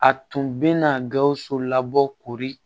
A tun bɛna gawusu labɔ koori